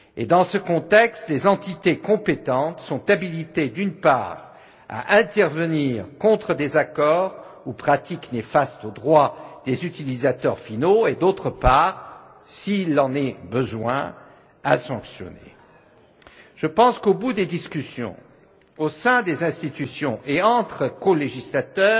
Dans ce contexte, les entités compétentes sont habilitées, d'une part à intervenir contre des accords ou pratiques néfastes aux droits des utilisateurs finaux, et d'autre part, s'il en est besoin, à sanctionner. Je pense qu'au bout des discussions, au sein des institutions et entre colégislateurs,